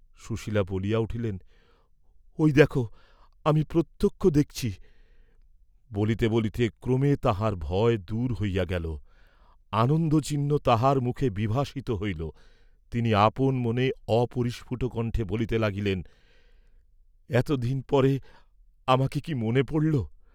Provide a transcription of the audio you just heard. সুশীলা বলিয়া উঠিলেন, "ঐ দেখ আমি প্রত্যক্ষ দেখছি," বলিতে বলিতে ক্রমে তাঁহার ভয় দূর হইয়া গেল, আনন্দচিহ্ন তাঁহার মুখে বিভাসিত হইল, তিনি আপন মনে অপরিস্ফুট কণ্ঠে বলিতে লাগিলেন, "এতদিন পরে আমাকে কি মনে পড়ল?"